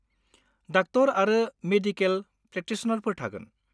Doctor आरो medical प्रेक्टिसनारफोर थागोन।